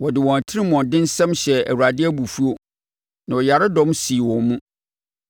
wɔde wɔn atirimuɔdensɛm hyɛɛ Awurade abufuo na ɔyaredɔm sii wɔn mu.